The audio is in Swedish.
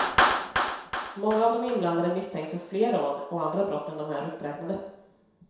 Många av de inblandade misstänks för fler rån och andra brott än de här uppräknade.